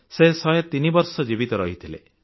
ସେ 103 ବର୍ଷ ଜୀବିତ ରହିଥିଲେ